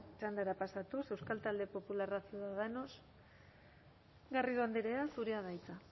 txandara pasatuz euskal talde popularra ciudadanos garrido andrea zurea da hitza